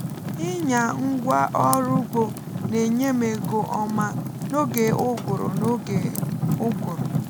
ịnya ngwa ọrụ ugbo na-enye m ego ọma n’oge ụgụrụ n’oge ụgụrụ